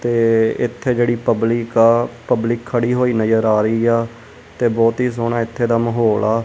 ਤੇ ਇੱਥੇ ਜਿਹੜੀ ਪਬਲਿਕ ਆ ਪਬਲਿਕ ਖੜੀ ਹੋਈ ਨਜ਼ਰ ਆ ਰਹੀ ਆ ਤੇ ਬਹੁਤ ਹੀ ਸੋਹਣਾ ਇੱਥੇ ਦਾ ਮਾਹੌਲ ਆ।